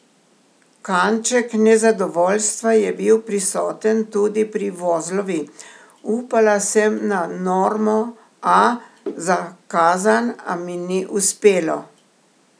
Kanček nezadovoljstva je bil prisoten tudi pri Vozlovi: "Upala sem na normo A za Kazan, a mi ni uspelo.